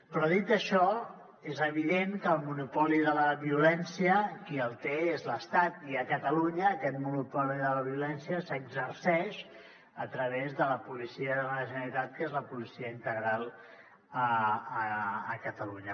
però dit això és evident que el monopoli de la violència qui el té és l’estat i a catalunya aquest monopoli de la violència s’exerceix a través de la policia de la generalitat que és la policia integral a catalunya